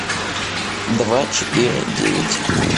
два четыре девять